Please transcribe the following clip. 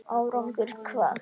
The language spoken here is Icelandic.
Árangur hvað?